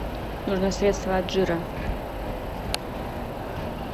нужно средство от жира